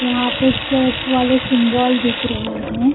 यहां पे चर्च वाले सिम्बोल दिख रहे हैं ।